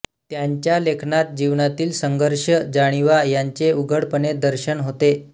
त्यांच्या लेखनात जीवनातील संघर्ष जाणिवा यांचे उघडपणे दर्शन होते